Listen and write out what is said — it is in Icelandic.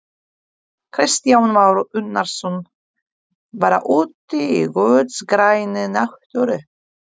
Kristján Már Unnarsson: Bara úti í guðs grænni náttúru?